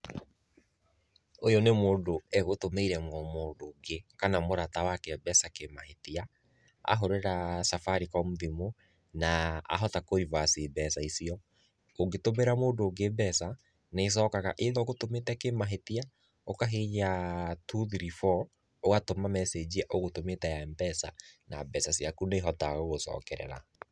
Ũyũ nĩ mũndũ egũtũmĩire mũndũ ũngĩ, kana mũrata wake mbeca kĩmahĩtia, ahũrĩra Safaricom thimũ na ahota kũrivaci mbeca icio, ũngĩtũmĩra mũndũ ũngĩ mbeca nĩĩcokaga either ũgũtũmĩte kĩmahĩtia ũkahihinya two three four ũgatũma mecĩnji ũgũtũmĩte ya Mpesa na mbeca ciaku nĩ ihotaga gũgũcokerera.